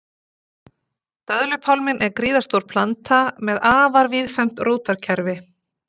döðlupálminn er gríðarstór planta með afar víðfeðmt rótarkerfi